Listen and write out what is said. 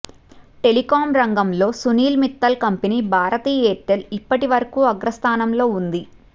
telecom రంగంలో Sunil Mittal company Bharti Airtel ఇప్పటి వరకు అగ్రస్థానంలో ఉంది